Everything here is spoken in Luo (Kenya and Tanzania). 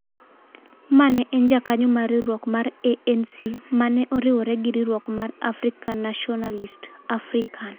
ma ne en jakanyo mar riwruok mar ANC ma ne oriwore gi riwruok mar African Nationalist "African",